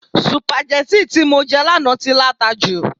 sùpàgẹ́tì tí mo jẹ lánàá tí láta jù